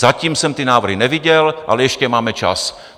Zatím jsem ty návrhy neviděl, ale ještě máme čas.